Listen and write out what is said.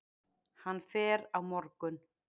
Hann fer á morgun.